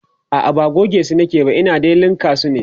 a'a ba gogesu nake ba Ina dai linka su ne